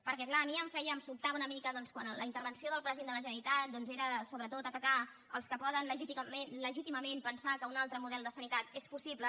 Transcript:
perquè clar a mi em sobtava una mica doncs quan la intervenció del president de la generalitat era sobretot atacar els que poden legítimament pensar que un altre model de sanitat és possible